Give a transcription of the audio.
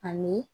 Ani